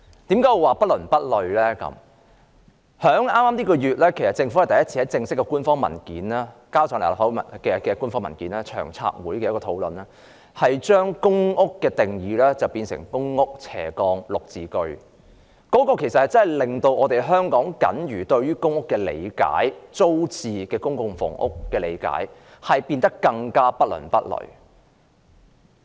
政府在本月向立法會提交的首份正式官方文件是有關長遠房屋策略督導委員會的討論，當中把公營房屋的定義變為公屋/綠表置居計劃，這真的令我們對於公屋或租置公共房屋僅餘的理解變得更不倫不類。